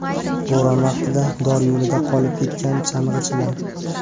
Bo‘ron vaqtida dor yo‘lida qolib ketgan chang‘ichilar.